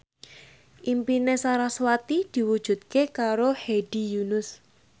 impine sarasvati diwujudke karo Hedi Yunus